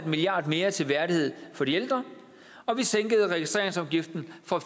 milliard mere til værdighed for de ældre og vi sænkede registreringsafgiften fra